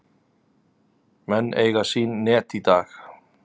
Menn eiga sín net í dag.